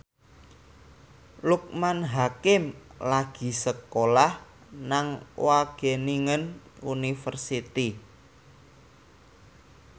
Loekman Hakim lagi sekolah nang Wageningen University